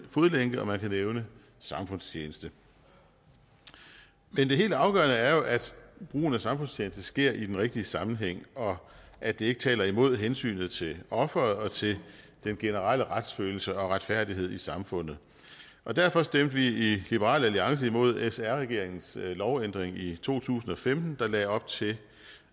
fodlænke og man kan nævne samfundstjeneste men det helt afgørende er jo at brugen af samfundstjeneste sker i den rigtige sammenhæng og at det ikke taler imod hensynet til offeret og til den generelle retsfølelse og retfærdighed i samfundet og derfor stemte vi i liberal alliance imod sr regeringens lovændring i to tusind og femten der lagde op til